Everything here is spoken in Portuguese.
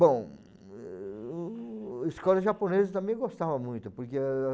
Bom, eu eu a escola japonesa eu também gostava muito. Porque